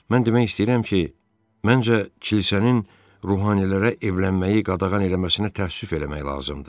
Mən demək istəyirəm ki, məncə kilsənin ruhanilərə evlənməyi qadağan eləməsinə təəssüf eləmək lazımdır.